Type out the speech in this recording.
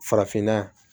Farafinna yan